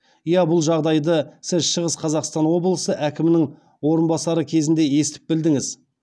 иә бұл жағдайды сіз шығыс қазақстан облысы әкімінің орынбасары кезінде естіп білдіңіз